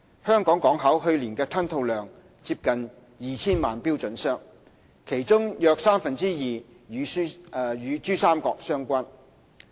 香港港口去年的吞吐量接近 2,000 萬標準箱，其中約三分之二與珠三角相關。